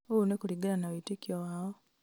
ũũ nĩ kuringana na wĩtĩkio wao